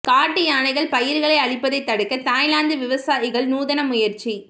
காட்டு யானைகள் பயிர்களை அழிப்பதை தடுக்க தாய்லாந்து விவசாயிகள் நூதன முயற்சி